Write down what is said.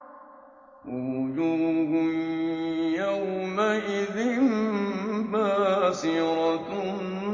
وَوُجُوهٌ يَوْمَئِذٍ بَاسِرَةٌ